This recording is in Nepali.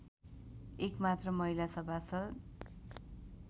एकमात्र महिला सभासद